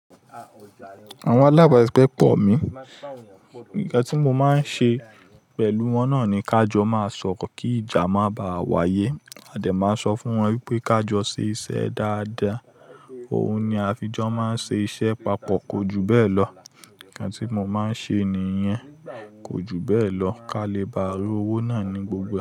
Àwon alábàsise pọ̀ mí, nkán tí mo máa ń ṣe pẹ̀lú wọ́n náà ni ká jọ máa sọ̀rọ̀ kí ìjà máa baà wáyé. Adè máa ń sọ fún wọn wípé ká jọ ṣe iṣẹ́ dáadáa, òun ni á fi jọ máa ń ṣe iṣẹ́ papọ̀. Kójú bẹ́ẹ̀ lọ, nkán tí mo máa ń ṣe nìyẹn. Kójú bẹ́ẹ̀ lọ, ká lè bá rí owó náà ní gbogbo ẹ.